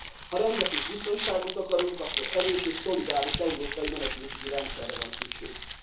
Ha rendet és biztonságot akarunk, akkor erős és szolidáris európai menekültügyi rendszerre van szükségünk.